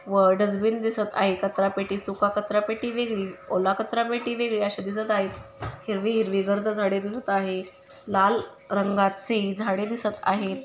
व डजबिन दिसत आहे कचरा पेटी सुका कचरा पेटी वेगळी ओला कचरा पेटी वेगळी असे दिसत आहेत हिरवी हिरवी गर्द झाडे दिसत आहे लाल रंगाचे झाडे दिसत आहे.